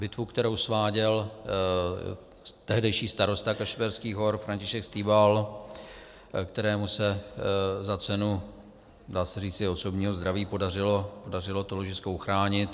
Bitvu, kterou sváděl tehdejší starosta Kašperských Hor František Stíbal, kterému se za cenu, dá se říci, osobního zdraví podařilo to ložisko uchránit.